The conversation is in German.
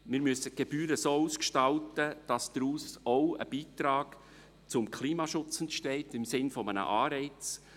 wir müssen die Gebühren so umgestalten, dass daraus auch ein Beitrag zum Klimaschutz im Sinne eines Anreizes entsteht.